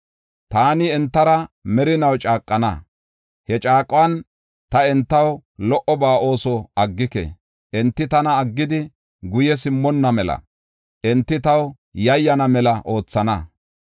Taani entara merinaw caaqana; he caaquwan ta entaw lo77oba ooso aggike. Enti tana aggidi guye simmonna mela enti taw yayyana mela oothana.